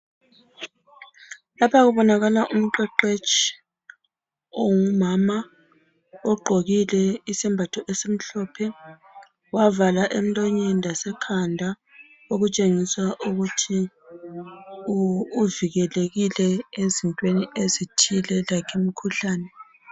lapha kubonakala umqeqetshi ongumama ugqokile isembatho esimhlophe wavala emlonyeni lasekhanda okutshengisa ukuthi uvikelekile ezintweni ezithile like imkhuhlane